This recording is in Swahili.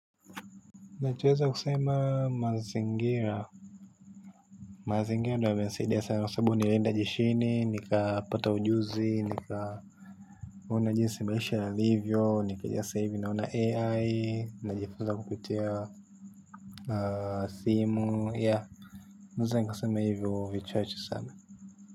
Nachoweza kusema mazingira. Mazingira ndo yamenisaidia sana kwa sababu nilienda jeshini, nikapata ujuzi, nikaona jinsi maisha yalivyo, sasa hivi naona AI, najifunza kupitia simu, yeah. Naweza nikasema hivyo vichache sana.